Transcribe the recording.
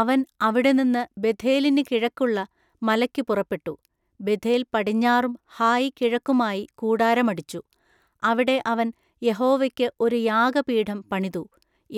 അവൻ അവിടെ നിന്നു ബേഥേലിന്നു കിഴക്കുള്ള മലെക്കു പുറപ്പെട്ടു. ബേഥേൽ പടിഞ്ഞാറും ഹായി കിഴക്കുമായി കൂടാരം അടിച്ചു. അവിടെ അവൻ യഹോവെക്കു ഒരു യാഗപീഠം പണിതു.